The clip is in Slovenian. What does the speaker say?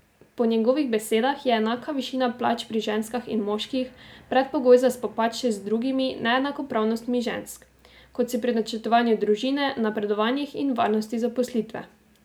Po njegovih besedah je enaka višina plač pri ženskah in moških predpogoj za spopad še z drugimi neenakopravnostmi žensk, kot so pri načrtovanju družine, napredovanjih in varnosti zaposlitve.